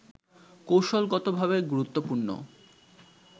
কৌশলগতভাবে গুরুত্বপূর্ণ